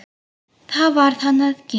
Það varð hann að gera.